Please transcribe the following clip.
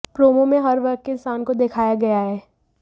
promo में हर वर्ग के इंसान को दिखाया गया है